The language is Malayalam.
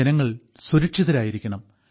ജനങ്ങൾ സുരക്ഷിതരായിരിക്കണം